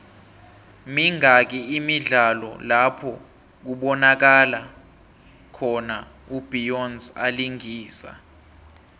mingaki imidlalo lapho kubonakalo khona u beyonce alingisa